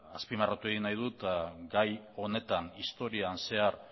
azpimarratu nahi dut eta gai honetan historian zehar